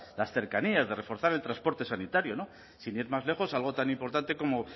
las cercanías de reforzar el transporte sanitario sin ir más lejos algo tan importante como